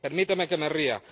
Permítame que me ría.